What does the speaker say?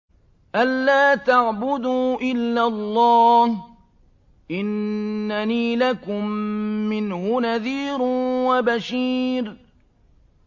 أَلَّا تَعْبُدُوا إِلَّا اللَّهَ ۚ إِنَّنِي لَكُم مِّنْهُ نَذِيرٌ وَبَشِيرٌ